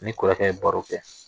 Ni kɔrɔkɛ ye baro kɛ